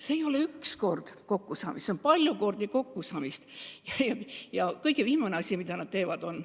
See ei ole üks kord kokkusaamine, see on palju kordi kokkusaamist.